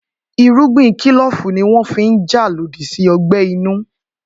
Irúgbìn kílòfù ní wọ́n fi n jà lòdì sí ọgbẹ́ inú